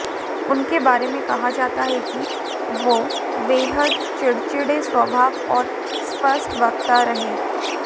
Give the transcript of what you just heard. उनके बारे में कहा जाता है कि वो बेहद चिड़चिड़े स्वभाव और स्पष्टवक्ता रहे